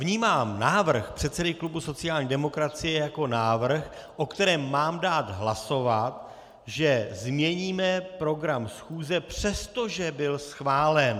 Vnímám návrh předsedy klubu sociální demokracie jako návrh, o kterém mám dát hlasovat, že změníme program schůze, přestože byl schválen.